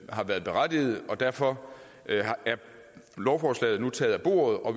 har været berettiget og derfor er lovforslaget nu taget af bordet og